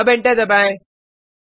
अब एंटर दबाएँ